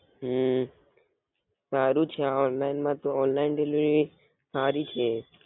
હમ સારું છે આ ઓંનલાઇન માં તો ઓનલાઇન હારી છે એ